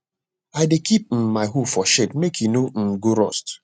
i dey keep um my hoe for shed make e no um go rust